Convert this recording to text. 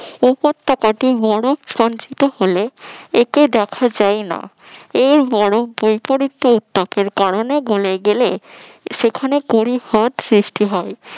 এপর তা কাটিয়া বরফ স্পঞ্জিতো হলে একে দেখা যায় না এর বরফ বৈপরীত্য উত্তাপের কারণে গোলর গেলে সেখানে পরিহদ সৃষ্টি হয়